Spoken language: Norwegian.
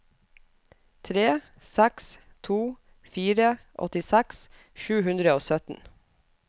tre seks to fire åttiseks sju hundre og sytten